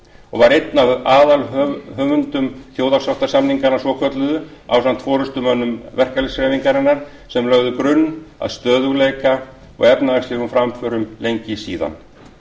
og var einn aðalhöfundur þjóðarsáttarsamninganna svokölluðu ásamt forustumönnum verkalýðshreyfingarinnar sem lögðu grunn að stöðugleika og efnahagslegum framförum lengi síðan